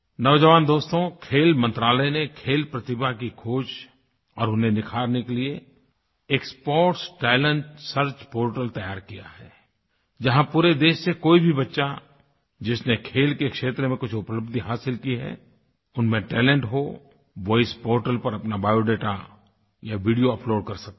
नौजवान दोस्तो खेल मंत्रालय ने खेल प्रतिभा की खोज और उन्हें निखारने के लिए एक स्पोर्ट्स टैलेंट सर्च पोर्टल तैयार किया है जहाँ पूरे देश से कोई भी बच्चा जिसने खेल के क्षेत्र में कुछ उपलब्द्धि हासिल की है उनमें टैलेंट हो वो इस पोर्टल पर अपना बायोडाटा या वीडियो अपलोड कर सकता है